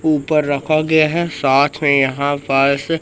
ऊपर रखा गया है साथ मे यहां पास--